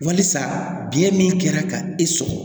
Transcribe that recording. Walisa biyɛn min kɛra ka e sɔgɔ